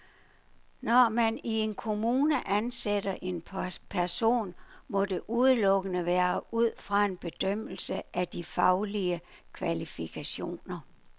Når man i en kommune ansætter en person, må det udelukkende være ud fra en bedømmelse af de faglige kvalifikationer.